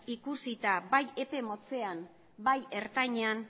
ikusita bai epe motzean eta bai ertainean